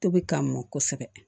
Tobi ka mɔn kosɛbɛ